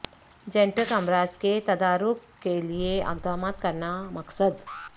genetic امراض کے تدارک کے لیے اقدامات کرنا مقصد